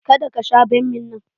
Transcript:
Ka da ka sha bammi nan!